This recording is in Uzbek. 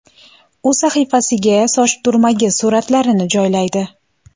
U sahifasiga soch turmagi suratlarini joylaydi .